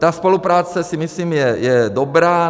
Ta spolupráce, si myslím, je dobrá.